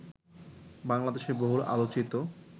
বাংলাদেশের বহুল আলোচিত